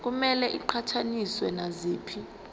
kumele iqhathaniswe naziphi